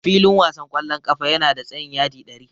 Filin wasan ƙwallon ƙafa yana da tsayin yadi ɗari.